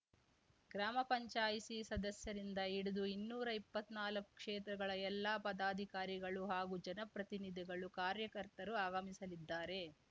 ಗ್ರಾಮಪಂಚಾಯಿಸಿ ಸದಸ್ಯರಿಂದ ಹಿಡಿದು ಇನ್ನೂರಾ ಇಪ್ಪತ್ನಾಲ್ಕು ಕ್ಷೇತ್ರಗಳ ಎಲ್ಲಾ ಪದಾಧಿಕಾರಿಗಳು ಹಾಗೂ ಜನಪ್ರತಿನಿಧಿಗಳು ಕಾರ್ಯಕರ್ತರು ಆಗಮಿಸಲಿದ್ದಾರೆ